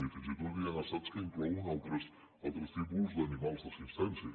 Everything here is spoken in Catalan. i fins i tot hi ha estats que inclouen altres tipus d’animals d’assistència